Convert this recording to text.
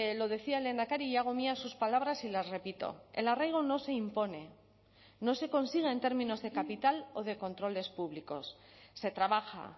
lo decía el lehendakari y hago mías sus palabras y las repito el arraigo no se impone no se consigue en términos de capital o de controles públicos se trabaja